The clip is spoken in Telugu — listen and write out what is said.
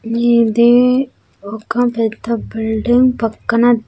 మీద్ది ఒక పెద్ద బిల్డింగ్ పక్కన.